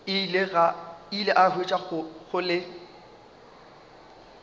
ile a hwetša go le